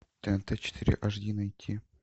тнт четыре ашди найти